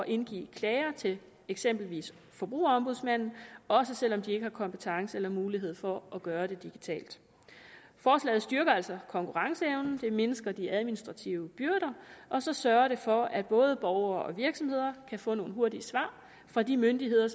indgive klager til eksempelvis forbrugerombudsmanden også selv om de ikke har kompetence til eller mulighed for at gøre det digitalt forslaget styrker altså konkurrenceevnen det mindsker de administrative byrder og så sørger det for at både borgere og virksomheder kan få nogle hurtige svar fra de myndigheder